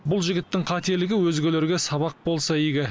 бұл жігіттің қателігі өзгелерге сабақ болса игі